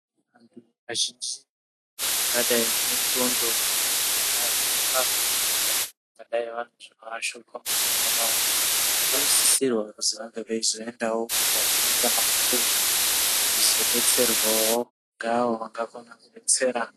Kazhinji akada anendxondo dzinoashupa ka nodai vane zvinovashupa mufungwa mwao vanosisira kuti vange veizoendawo kuhosipitariyo kuzodetserwawo ngaawo akavaetsera.